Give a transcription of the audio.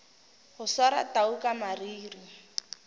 go swara tau ka mariri